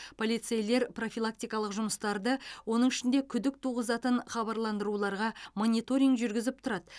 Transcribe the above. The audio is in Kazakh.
полицейлер профилактикалық жұмыстарды оның ішінде күдік туғызатын хабарландыруларға мониторинг жүргізіп тұрады